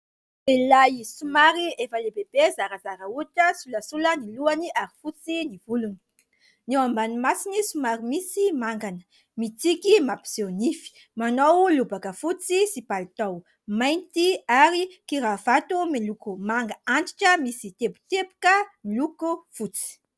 Lehiolahy somary efa lehibebe zarazara hoditra, solasola ny lohany ary fotsy ny volony. Ny eo ambany masony somary misy mangana, mitsiky mampiseho nify, manao lobaka fotsy sy palitao mainty ary kiravato miloko manga antitra, misy teboteboka miloko fotsy.